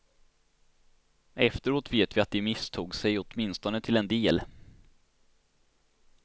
Efteråt vet vi att de misstog sig åtminstone till en del.